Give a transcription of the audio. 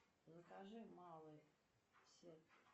закажи малый сет